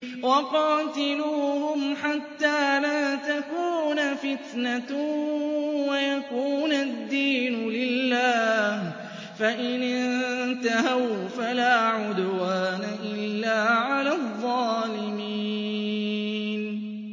وَقَاتِلُوهُمْ حَتَّىٰ لَا تَكُونَ فِتْنَةٌ وَيَكُونَ الدِّينُ لِلَّهِ ۖ فَإِنِ انتَهَوْا فَلَا عُدْوَانَ إِلَّا عَلَى الظَّالِمِينَ